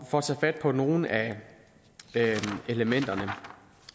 for at tage fat på nogle af elementerne